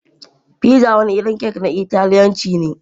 Fiza wani irin kek na Italiyanci ne.